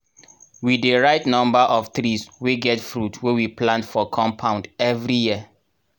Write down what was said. we dey write number of trees wey get fruit wey we plant for compound everi year.